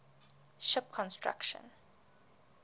ship construction